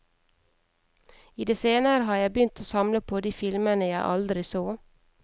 I det senere har jeg begynt å samle på de filmene jeg aldri så.